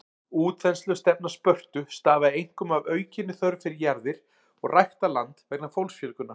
Útþenslustefna Spörtu stafaði einkum af aukinni þörf fyrir jarðir og ræktað land vegna fólksfjölgunar.